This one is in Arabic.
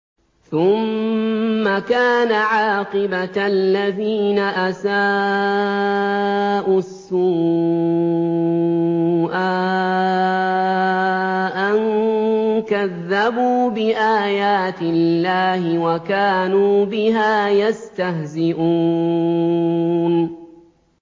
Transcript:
ثُمَّ كَانَ عَاقِبَةَ الَّذِينَ أَسَاءُوا السُّوأَىٰ أَن كَذَّبُوا بِآيَاتِ اللَّهِ وَكَانُوا بِهَا يَسْتَهْزِئُونَ